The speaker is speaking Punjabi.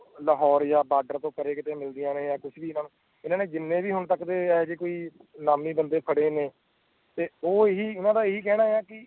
ਲਾਹੌਰ ਯਾ ਬੋਰਡ ਤੇ ਪਰੇ ਕੀਤੋ ਮੇਲਿਦਿਆਂ ਨੇ ਯਾ ਕੁੱਛ ਵੀ ਇਨ੍ਹਾਂ ਜਿਨ੍ਹੇ ਵੀ ਹੁਣ ਤੱਕ ਦੇ ਇਹੋ ਜੇ ਕੋਈ ਲਾਬੀ ਬੰਦੇ ਫੜੇ ਨੈ ਤੇ ਓ ਹੀ ਇਨ੍ਹਾਂ ਦਾ ਕਿਨਾ